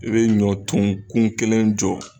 I bɛ ɲɔ tun kun kelen jɔ.